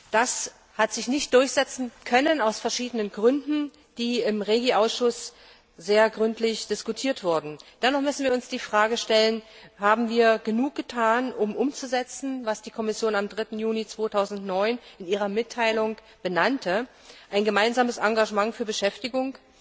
Das konnte sich aus verschiedenen Gründen, die im REGI Ausschuss sehr gründlich diskutiert wurden, nicht durchsetzen. Dennoch müssen wir uns die Frage stellen Haben wir genug getan, um umzusetzen, was die Kommission am 3. Juni 2009 in ihrer Mitteilung benannte ein gemeinsames Engagement für Beschäftigung,